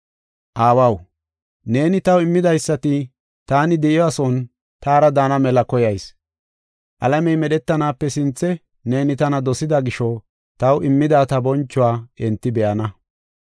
“Aawaw, neeni taw immidaysati taani de7iyasuwan taara daana mela koyayis. Alamey medhetanaape sinthe neeni tana dosida gisho, taw immida ta bonchuwa enti be7ana.